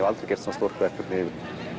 aldrei gert svona stórt verkefni